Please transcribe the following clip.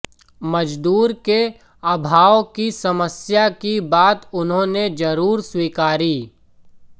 मजदूर के अभाव की समस्या की बात उन्होंने जरूर स्वीकारी